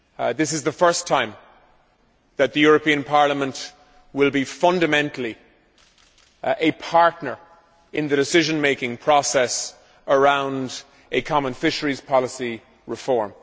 This is the first time that the European Parliament will be fundamentally a partner in the decision making process around a common fisheries policy reform.